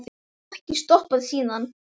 Ég hef ekki stoppað síðan.